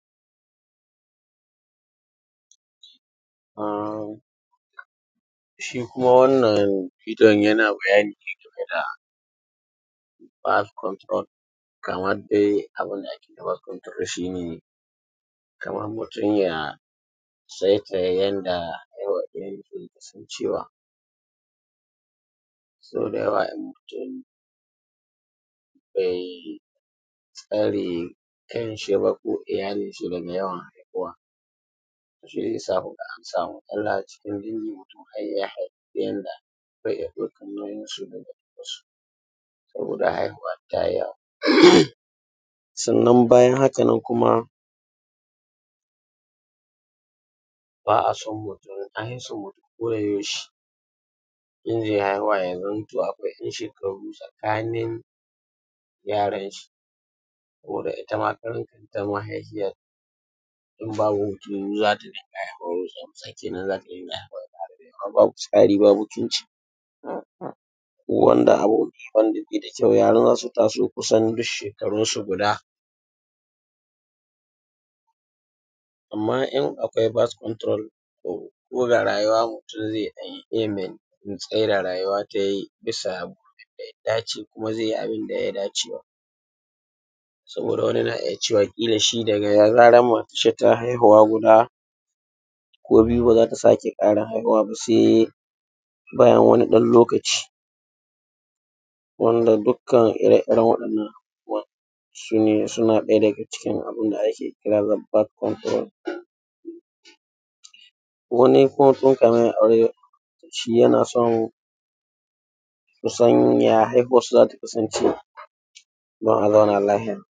um shi kuma wannan bidiyo yana man bayani ne game da bas konturol amman dai abun da ake magana shi ne kaman mutum ya tsaitsaya yanda yasan cewa so da yawa in mutum be tsare kanshi daga iyalinshi daga yawan haihuwa, shi ya sa ku ga an samu a cikin birni mutum kan iya ɗaukan nauyinsu saboda ya haihuwa ya yi yawa, sannan bayan hakan nan kuma ba a so a juna ko da yaushe in mutum ze haihuwa ya zamanto akwai shekaru tsakanin yaran shi. Saboda ita ma mahaifiyan in babu hutu za ta iya tsari ba mutunci wanda abun be da kyau, yara za su taso kusan duk shekarun su gud, amma in akwai bas konturol ko da rayuwa mutum ze ɗan iya yi me tsai da rayuwa ta yi bisa abin da ya dace kuma ze yi abun da ya dace ma saboda wani na iya cewa da ya ga mace ta haihuwa guda biyu se ya ce ba za ta sake haihuwa ba. Se bayan wani lokaci wanda dukkan ire-iren waɗan nan abubbuwan su ne suna ɗaya daga cikin abun da ake kira bas konturol, wani koda ya yi aure shi yana son ya san ya haihuwansa za ta kasance, dan a zauna lahiya.